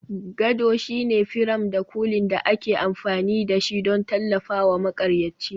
Gado shine firam da kulin da ake amfani da shi don tallafawa maƙaryaci.